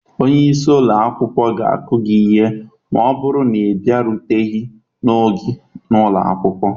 Onye isi ụlọ akwụkwọ ga-akụ gị ihe ma ọ bụrụ na ị bịaruteghi n'oge na ụlọ akwụkwọ